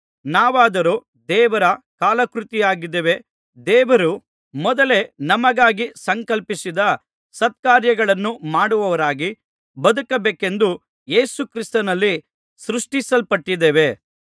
ನಾವಾದರೋ ದೇವರ ಕಲಾಕೃತಿಯಾಗಿದ್ದೇವೆ ದೇವರು ಮೊದಲೇ ನಮಗಾಗಿ ಸಂಕಲ್ಪಿಸಿದ್ದ ಸತ್ಕಾರ್ಯಗಳನ್ನು ಮಾಡುವವರಾಗಿ ಬದುಕಬೇಕೆಂದು ಯೇಸು ಕ್ರಿಸ್ತನಲ್ಲಿ ಸೃಷ್ಟಿಸಲ್ಪಟ್ಟಿದ್ದೇವೆ